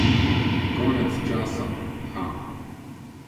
Konec časa, ha?